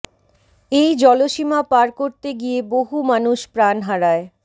এই জলসীমা পার করতে গিয়ে বহু মানুষ প্রাণ হারায়